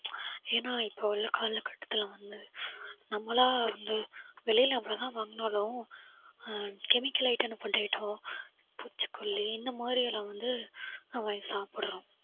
ஏன்னா இப்ப உள்ள காலகட்டத்தில வந்து நம்மளா வந்து வெளியில எவ்வளவு தான் வாங்கினாலும் uh chemical item, food item பூச்சிக்கொல்லி இந்த மாதிரியெல்லாம் வந்து வாங்கி சாப்பிடுறோம்